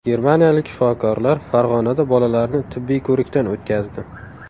Germaniyalik shifokorlar Farg‘onada bolalarni tibbiy ko‘rikdan o‘tkazdi.